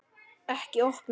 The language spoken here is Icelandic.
Ekki opna